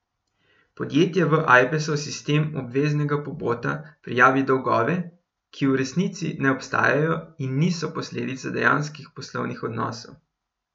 Podjetje v Ajpesov sistem obveznega pobota prijavi dolgove, ki v resnici ne obstajajo in niso posledica dejanskih poslovnih odnosov.